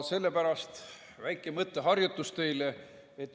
Sellepärast väike mõtteharjutus teile.